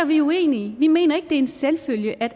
vi er uenige vi mener ikke en selvfølge at